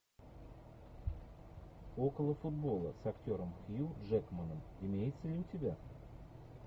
около футбола с актером хью джекманом имеется ли у тебя